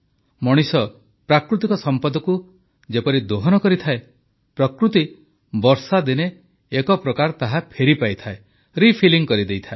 ମଣିଷ ପ୍ରାକୃତିକ ସମ୍ପଦକୁ ଯେପରି ଦୋହନ କରିଥାଏ ପ୍ରକୃତି ବର୍ଷାଦିନେ ଏକ ପ୍ରକାର ତାହା ଫେରିପାଇଥାଏ ରିଫିଲିଂ କରିଥାଏ